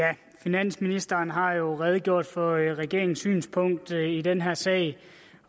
finansministeren har redegjort for regeringens synspunkt i den her sag